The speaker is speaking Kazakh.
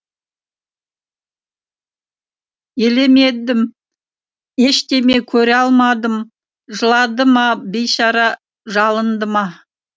елемедім ештеме көре алмадым жылады ма бейшара жалынды ма